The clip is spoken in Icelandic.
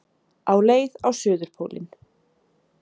Á leið á suðurpólinn